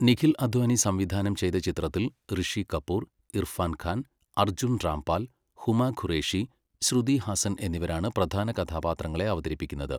നിഖിൽ അദ്വാനി സംവിധാനം ചെയ്ത ചിത്രത്തിൽ ഋഷി കപൂർ, ഇർഫാൻ ഖാൻ, അർജുൻ രാംപാൽ, ഹുമ ഖുറേഷി, ശ്രുതി ഹാസൻ എന്നിവരാണ് പ്രധാന കഥാപാത്രങ്ങളെ അവതരിപ്പിക്കുന്നത്.